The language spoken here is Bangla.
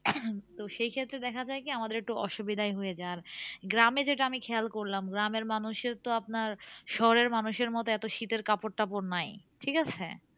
তো সেই ক্ষেত্রে দেখা যায় কি? আমাদের একটু অসুবিধাই হয়ে যায়। আর গ্রামে যেটা আমি খেয়াল করলাম, গ্রামের মানুষের তো আপনার শহরের মানুষের মতো এত শীতের কাপড় তাপর নাই। ঠিকাছে?